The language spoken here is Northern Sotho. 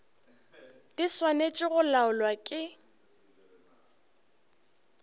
di swanetše go laolwa ke